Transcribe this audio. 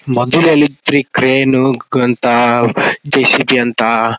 ಮೊದಲ ಎಲ್ಲಿ ಇತ್ರೀ ಕ್ರೇನ್ ಅಂತ ಜೆಸಿಬಿ ಅಂತ --